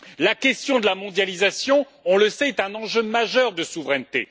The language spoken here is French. La question de la mondialisation on le sait est un enjeu majeur de souveraineté.